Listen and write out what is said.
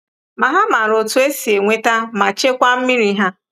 Ma ha maara otú e si enweta ma chekwaa mmiri ha.